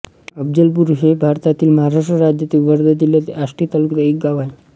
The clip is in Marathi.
अफझलपूर हे भारतातील महाराष्ट्र राज्यातील वर्धा जिल्ह्यातील आष्टी तालुक्यातील एक गाव आहे